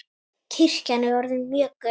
Kirkjan er orðin mjög gömul.